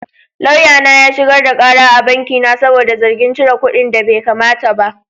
Lauyana ya shigar da kara a banki na saboda zargin cire kuɗinda baikamata ba.